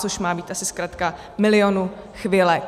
Což má být asi zkratka Milionu chvilek.